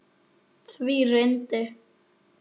Því reyndi